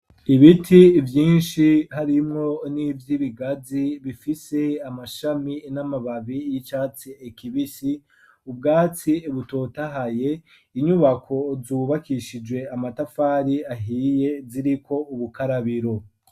Ibiti vyinshi harimwo n'ivyibigazi bifise amashami n'amababi y'icatsi kibisi ubwatsi butotahaye inyubako zubakishijwe amatafari ahiye ziriko ubukarabiro.